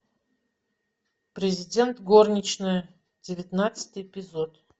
президент горничная девятнадцатый эпизод